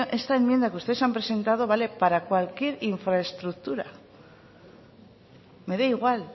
esta enmienda que ustedes han presentado vale para cualquier infraestructura me da igual